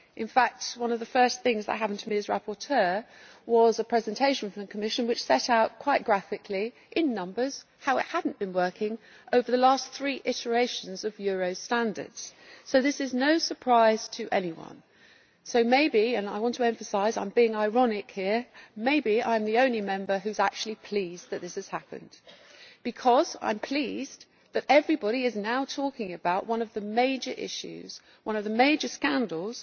In fact, one of the first things that happened to me as rapporteur was a presentation from the Commission which set out quite graphically, in numbers, how it had not been working over the last three iterations of Euro standards. So this is no surprise to anyone. Maybe and I want to emphasise that I am being ironic here I am the only Member who is actually pleased that this has happened. I am pleased because now everybody is talking about one of the major issues, one of the major scandals,